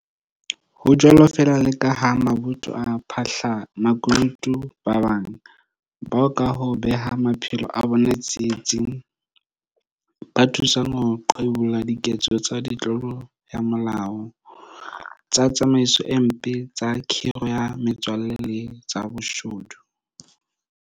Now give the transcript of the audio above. Ho jwalo feela le ka mabotho a baphahla makunutu ba bang, bao ka ho beha maphelo a bona tsietsing, ba thusang ho qhibolla diketso tsa ditlolo ya molao, tsa tsamaiso e mpe, tsa khiro ya metswalle le tsa boshodu.